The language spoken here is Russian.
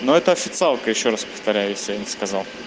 ну это официалка ещё раз повторяю если я не сказал